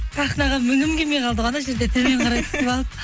сахнаға мінгім келмей қалды ғой ана жерде төмен қарай түсіп алып